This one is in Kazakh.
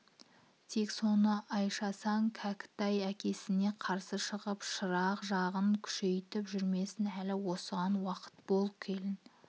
тек соны айшасаң кәкітай әкесіне қарсы шығып шырақ жағын күшейтіп жүрмесін әлі осыған уақып бол келін